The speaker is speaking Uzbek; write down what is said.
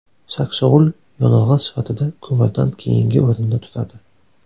Saksovul yonilg‘i sifatida ko‘mirdan keyingi o‘rinda turadi.